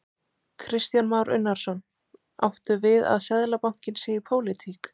Kristján Már Unnarsson: Áttu við að Seðlabankinn sé í pólitík?